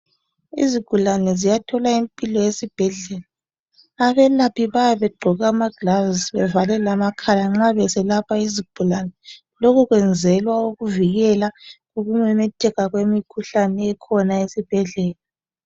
Izigulane ziyathola impilo esibhedlela. Abelaphi bayabe begqoke amaglavs bevale lamakhala nxa beselapha izigulane. Lokhu kwenzelwa ukuvikela ukumemetheka kwemikhuhlane ekhona esibhedlela.